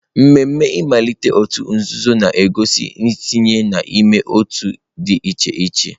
Ememe mmalite òtù nzuzo na-egosi ntinye n'ime otu dị iche iche.